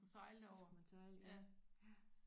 Det skulle man sejle ja ja